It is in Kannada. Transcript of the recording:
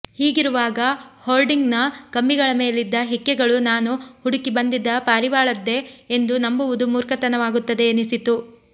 ಹೀಗಿರುವಾಗ ಹೋರ್ಡಿಂಗ್ನ ಕಂಬಿಗಳ ಮೇಲಿದ್ದ ಹಿಕ್ಕೆಗಳು ನಾನು ಹುಡುಕಿ ಬಂದಿದ್ದ ಪಾರಿವಾಳದ್ದೇ ಎಂದು ನಂಬುವುದು ಮೂರ್ಖತನವಾಗುತ್ತದೆ ಎನಿಸಿತು